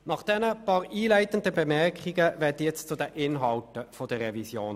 Nun komme ich zu den Inhalten dieser Revision.